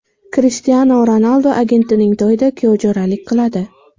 Krishtianu Ronaldu agentining to‘yida kuyovjo‘ralik qiladi.